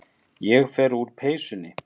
Ég fer úr peysunni.